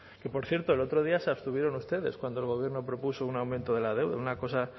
que por cierto el otro día se abstuvieron ustedes cuando el gobierno propuso un aumento de la deuda una cosa